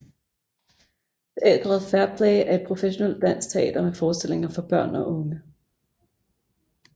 Teatret Fair Play er et professionelt dansk teater med forestillinger for børn og unge